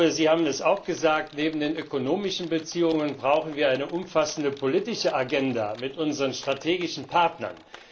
Sie haben auch gesagt Neben den ökonomischen Beziehungen brauchen wir eine umfassende politische Agenda mit unseren strategischen Partnern.